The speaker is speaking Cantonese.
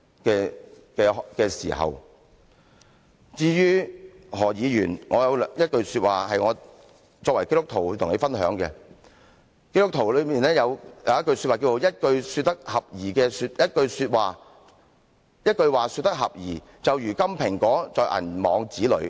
我作為基督徒，我有一句說話想向何議員分享，基督徒中有一句說話是"一句話說得合宜，就如金蘋果在銀網子裏"。